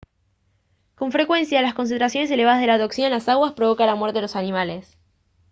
con frecuencia las concentraciones elevadas de la toxina en las aguas provocan la muerte de los peces